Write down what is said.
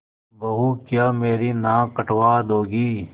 बहू क्या मेरी नाक कटवा दोगी